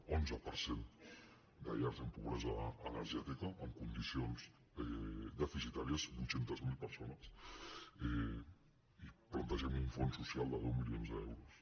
onze per cent de llars amb pobresa energètica en condicions deficitàries vuit cents miler persones i plantegem un fons socials de deu milions d’euros